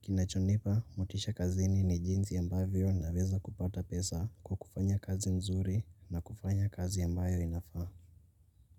kinachonipa motisha kazini ni jinsi ambavyo naweza kupata pesa kwa kufanya kazi nzuri na kufanya kazi ambayo inafaa.